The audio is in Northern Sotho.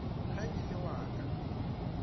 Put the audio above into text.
ge e le wa ka